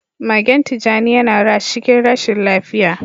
Magen tijani yana rash cikin rashin lafiya.